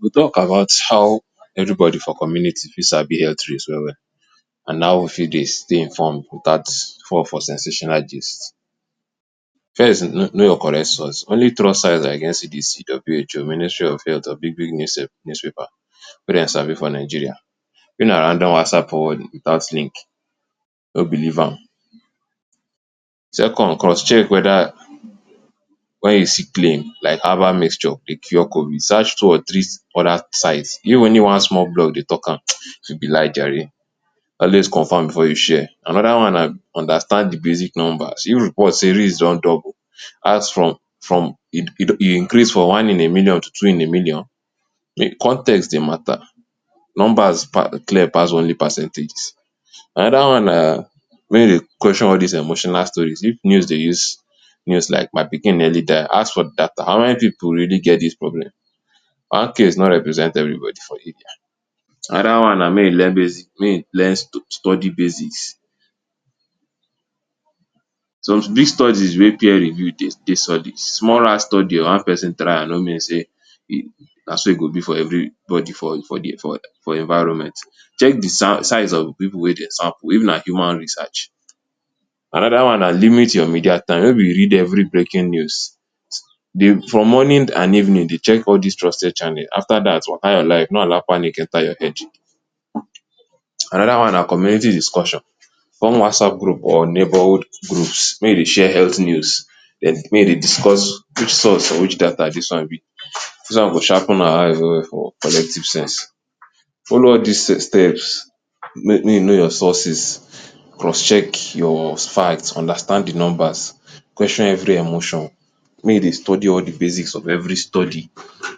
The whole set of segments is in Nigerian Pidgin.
We talk about how evribodi for community fit sabi health risk well well, and how we fit dey stay inform witout fall for sensational gist. First, kno know your correct source. Only trust sites like NCDC, WHO, Ministry of Health or big big newspaper wey dem sabi for Nigeria. na random WhatsApp forward witout link, no believe am Second, cross check. Weda wen you see claim like herbal mixture dey cure COVID, search two or three other sites. Even one small blog dey talk am E fit be lie jare. Always confirm before you share. Anoda one na understand di basic number. Even report say risk don double, ask from from E E increase from one in a million to two in a million? Context dey mata. Numbers pa clear pass only percentage. Anoda one na make you dey question all these emotional stories. If news dey use news like “my pikin nearly die,” ask for data. How many pipu really get dis problem? One case no represent everybody for [?[ Anoda one na make you learn basis learn stu study basics. So dis study wey peer review dey take studies small study or one person trial no mean say na so e go be for everybody for the for, for environment. Check di size of di pipu wey dem sample if na human research. Anoda one na limit your media time. Wen we read every breaking news. For morning and evening dey check all dis trusted channel. After that, waka your life. No allow panic enta your head. Anoda one na community discussion. Come WhatsApp group or neighbourhood groups, make you dey share health news. May you dey discuss for which source or which data dis one be. Dis one go shape una eye well well for collective-sense Follow all dis steps: may may you know your sources, cross check your understand di numbers, question every emotion, make you dey study all di basics of every study.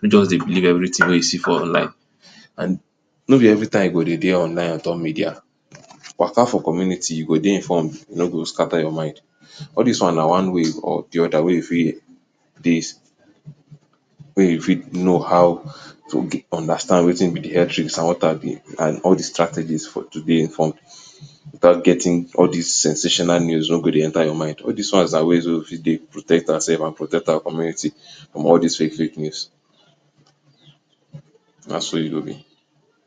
No just dey believe everytin wey you see for online, and no be every time you go dey dey online on top media. Waka for community, you go dey informed. No go scatter your mind. All dis one na one way or di oda wey you fit dey wey you fit know how to understand wetin be di health and all di strategies for to dey informed witout getting all these sensational news wey go dey enta your mind. All dis ones na ways wey we fit dey protect oursef and protect our community from all dis fake fake news nah so e go be